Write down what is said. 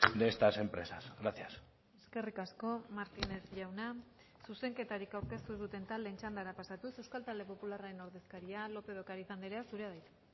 de estas empresas gracias eskerrik asko martínez jauna zuzenketarik aurkeztu ez duten taldeen txandara pasatuz euskal talde popularraren ordezkaria lópez de ocariz andrea zurea da hitza